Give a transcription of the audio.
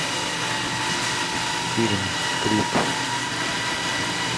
фильм крик